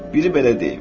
Biri belə deyir: